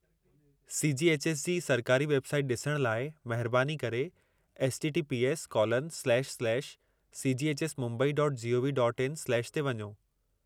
C .G. H. S. जी सरकारी website ॾिसण लाइ महिरबानी करे https://cghsmumbai.gov.in/ ते वञो।